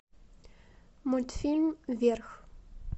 мультфильм вверх